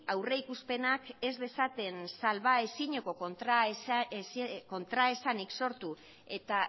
aurreikuspenak ez dezaten salbaezineko kontraesanik sortu eta